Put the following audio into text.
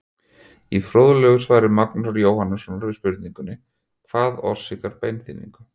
Í fróðlegu svari Magnúsar Jóhannssonar við spurningunni Hvað orsakar beinþynningu?